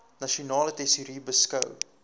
nasionale tesourie beskou